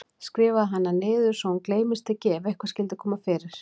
Skrifaðu hana niður svo hún gleymist ekki ef eitthvað skyldi koma fyrir mig.